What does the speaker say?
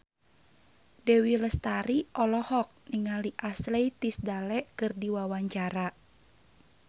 Dewi Lestari olohok ningali Ashley Tisdale keur diwawancara